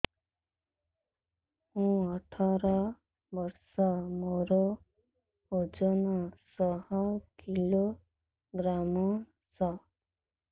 ମୁଁ ଅଠର ବର୍ଷ ମୋର ଓଜନ ଶହ କିଲୋଗ୍ରାମସ